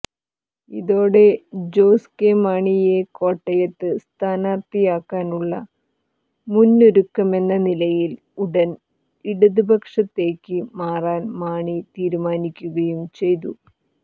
ഇതോടെ ജോസ് കെ മാണിയെ കോട്ടയത്ത് സ്ഥാനാർത്ഥിയാക്കാനുള്ള മുന്നൊരുക്കമെന്ന നിലയിൽ ഉടൻ ഇടതുപക്ഷത്തേക്ക് മാറാൻ മാണി തീരുമാനിക്കുകയും ചെയ്തു